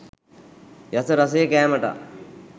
යස රසය කෑමටා